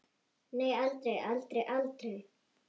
Nei, aldrei, aldrei, aldrei!